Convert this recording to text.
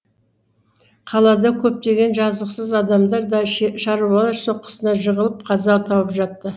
қалада көптеген жазықсыз адамдар да шаруалар соққысына жығылып қаза тауып жатты